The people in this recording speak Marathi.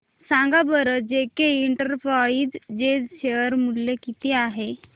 सांगा बरं जेके इंटरप्राइजेज शेअर मूल्य किती आहे